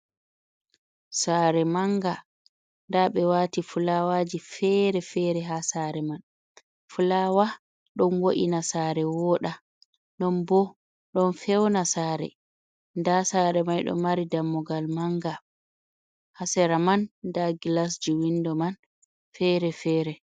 Saare manga nda ɓe wati fulawaji fere-fere ha saare man. Fulawa ɗon wo’ina saare woda non bo ɗon fewna saare, nda saare mai ɗo mari dammugal manga ha sera man nda gilasji windo man fere fere.